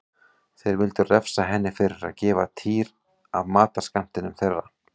Þeir vildu refsa henni fyrir að gefa Týra af matarskammtinum þeirra.